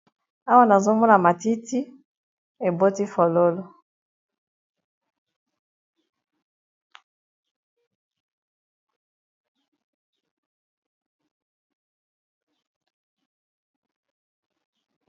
Awa nazomona matiti eboti fololo.